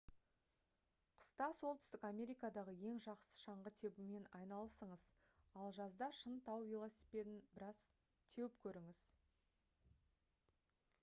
қыста солтүстік америкадағы ең жақсы шаңғы тебумен айналысыңыз ал жазда шын тау велосипедін біраз теуіп көріңіз